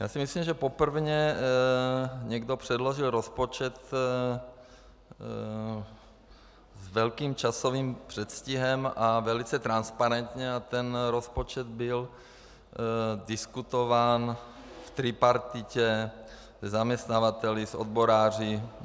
Já si myslím, že poprvé někdo předložil rozpočet s velkým časovým předstihem a velice transparentně, a ten rozpočet byl diskutován v tripartitě, se zaměstnavateli, s odboráři.